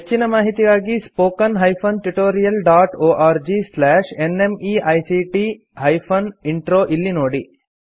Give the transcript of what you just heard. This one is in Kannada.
ಹೆಚ್ಚಿನ ಮಾಹಿತಿಗಾಗಿ spoken hyphen tutorial dot org slash NMEICT hyphen intro ಇಲ್ಲಿ ನೋಡಿ